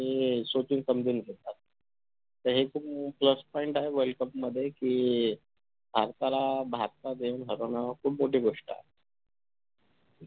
बनू शकतात त्याच्यामुळेच plus point आहे world cup मध्ये कि भारताला भारतात येऊन हरवणं खूप मोठी गोष्ट आहे